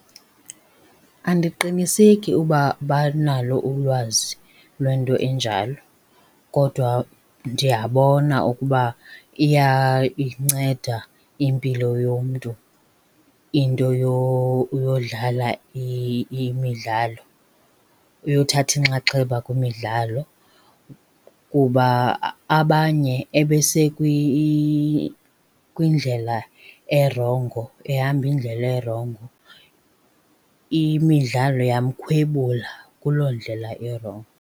Andiqiniseki uba banalo ulwazi lwento enjalo kodwa ndiyabona ukuba iyayinceda impilo yomntu into yodlala imidlalo, yothatha inxaxheba kwimidlalo. Kuba abanye kwindlela erongo, ehamba indlela erongo, imidlalo yamkhwebula kuloo ndlela irongo.